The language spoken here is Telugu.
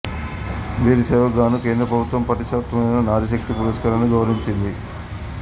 వీరి సేవకు గాను కేంద్ర ప్రభుత్వము ప్రతిష్ఠాకమైన నారిశక్తి పురస్కారాన్నిచ్చి గౌరవించింది